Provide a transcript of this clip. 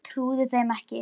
Ég trúði þeim ekki.